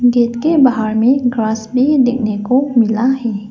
Gate के बाहर में ग्रास भी देखने को मिला है।